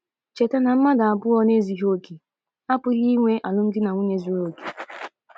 Cheta na mmadụ abụọ na - ezughị okè apụghị inwe alụmdi na nwunye zuru okè.